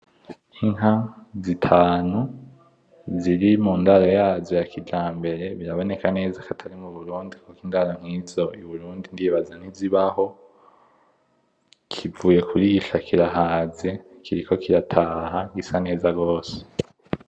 Inka zitanu ziri mu ndaro yazo yakijambere, biraboneka neza ko atari mu Burundi kuko indaro nkizo i Burundi ntizibaho, kivuye kurisha kirahaze, kiriko kirataha, gisa neza gose.